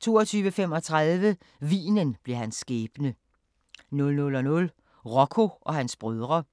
22:35: Vinen blev hans skæbne 00:00: Rocco og hans brødre